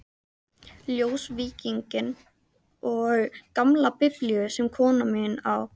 Ljósvíkinginn og gamla Biblíu sem konan mín á.